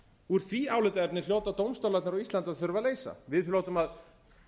úr því álitaefni hljóta dómstólarnir á íslandi að þurfa að leysa við hljótum að